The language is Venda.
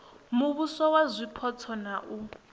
muvhuso wa zwipotso na u